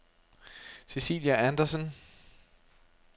Cecilia Anderson